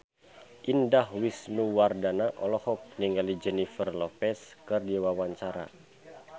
Indah Wisnuwardana olohok ningali Jennifer Lopez keur diwawancara